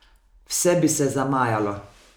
Vse bi se zamajalo!